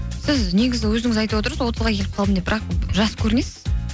сіз негізі өзіңіз айтып отырсыз отызға келіп қалдым деп бірақ жас көрінесіз